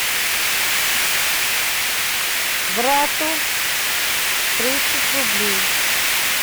брату тридцать рублей